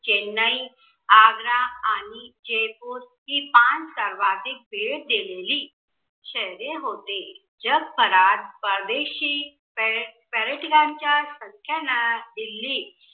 चेन्नई, आग्रा आणि जयपूर ही पाच सर्वाधिक भेट दिलेली शहरे होते. जगभरात परदेशी पर्यटकांच्या संख्यांना दिल्ली